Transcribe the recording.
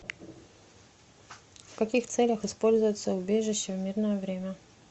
в каких целях используются убежища в мирное время